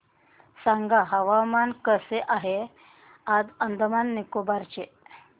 सांगा हवामान कसे आहे आज अंदमान आणि निकोबार चे